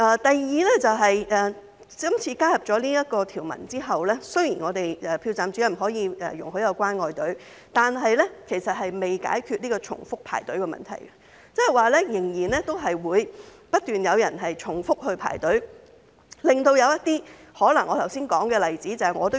第二，今次加入了這項條文後，雖然投票站主任可以容許有"關愛隊"，但其實仍未解決重複排隊的問題，仍然可能會有人不斷重複排隊，導致我剛才所說的例子發生。